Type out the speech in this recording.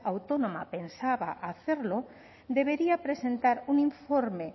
autónoma pensaba hacerlo debería presentar un informe